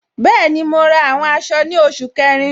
Bẹẹni, mo ra àwọn aṣọ ni oṣù kẹrin.